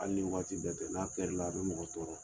Hali waati bɛɛ tɛ n'a kɛrila a bɛ mɔgɔ tɔɔrɔ